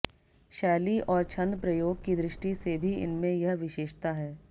शैली और छंदप्रयोग की दृष्टि से भी इनमें यह विशेषता है